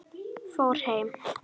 Fór heim?